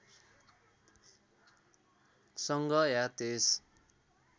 सँग या त्यस